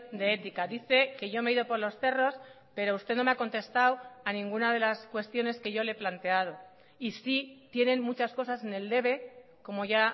de ética dice que yo me he ido por los cerros pero usted no me ha contestado a ningúna de las cuestiones que yo le he planteado y sí tienen muchas cosas en el debe como ya